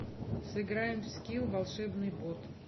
сыграем в скил волшебный бот